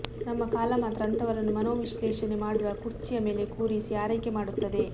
ನಮ್ಮ ಕಾಲ ಮಾತ್ರ ಅಂಥವರನ್ನು ಮನೋವಿಶ್ಲೇಷಣೆ ಮಾಡುವ ಕುರ್ಚಿಯ ಮೇಲೆ ಕೂರಿಸಿ ಆರೈಕೆ ಮಾಡುತ್ತದೆ